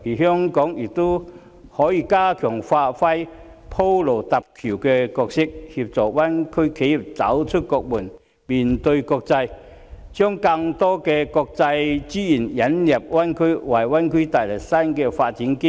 香港亦可以加強發揮鋪路搭橋的角色，協助灣區企業走出國門，面對國際，把更多國際資源引入灣區，為灣區帶來新的發展機遇。